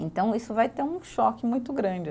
Então, isso vai ter um choque muito grande